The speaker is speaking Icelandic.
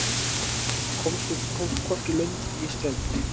Komst hvorki lönd né strönd